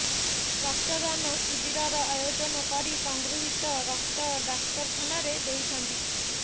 ରକ୍ତଦାନ ଶିବିରର ଆୟୋଜନ କରି ସଂଗୃହିତ ରକ୍ତ ଡାକ୍ତରଖାନାରେ ଦେଇଛନ୍ତି